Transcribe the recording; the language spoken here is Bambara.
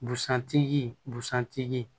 Busan tigi busan tigi